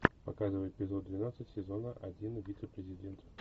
показывай эпизод двенадцать сезона один вице президент